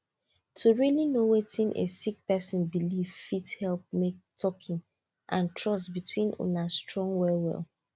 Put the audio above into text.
to really know wetin a sick person believe fit help make talking and trust between una strong well well